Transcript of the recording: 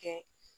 Kɛ